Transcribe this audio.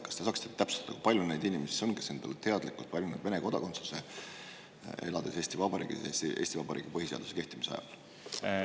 Kas te saaksite täpsustada, kui palju on neid inimesi, kes on endale teadlikult valinud Vene kodakondsuse, elades Eesti Vabariigis Eesti Vabariigi põhiseaduse kehtimise ajal?